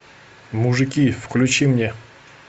мужики включи мне